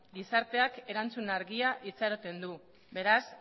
gizarteak erantzun argia itxaroten du beraz